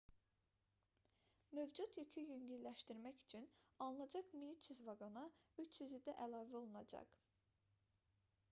mövcud yükü yüngülləşdirmək üçün alınacaq 1300 vaqona 300-ü də əlavə olunacaq